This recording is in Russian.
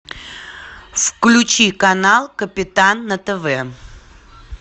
включи канал капитан на тв